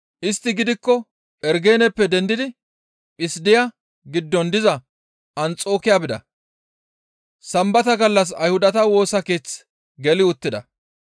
Istti gidikko Phergeneppe dendidi Phissidiya giddon diza Anxokiya bida; Sambata gallas Ayhudata woosa keeth geli uttida.